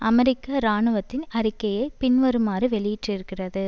அமெரிக்க இராணுவத்தின் அறிக்கையை பின்வருமாறு வெளியிட்டிருக்கிறது